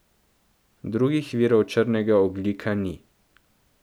Drugih virov črnega ogljika ni.